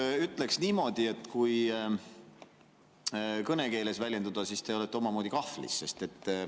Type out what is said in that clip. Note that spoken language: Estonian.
Ma ütleks niimoodi, kui kõnekeeles väljenduda, et te olete omamoodi kahvlis.